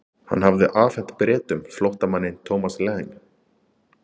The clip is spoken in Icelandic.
Hann hafði afhent Bretum flóttamanninn Thomas Lang.